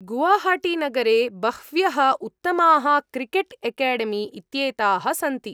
गुवाहाटीनगरे बह्व्यः उत्तमाः cricket academy इत्येताः सन्ति।